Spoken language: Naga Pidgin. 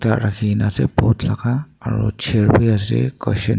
ekta Rakhineh ase pot laga aro chair bhi ase cushion .